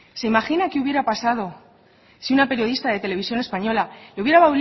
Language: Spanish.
se imagina qué hubiera pasado si una periodista de televisión española le hubiera